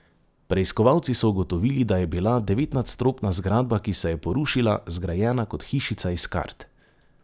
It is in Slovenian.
Preiskovalci so ugotovili, da je bila devetnadstropna zgradba, ki se je porušila, zgrajena kot hišica iz kart.